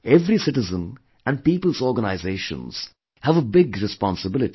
Every citizen and people's organizations have a big responsibility